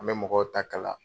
An bɛ mɔgɔw ta kala.